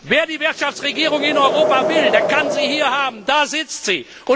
Wer die Wirtschaftsregierung in Europa will, der kann sie hier haben, da sitzt sie.